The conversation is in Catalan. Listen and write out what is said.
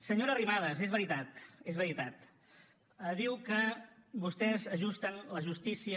senyora arrimadas és veritat és veritat diu que vostès ajusten la justícia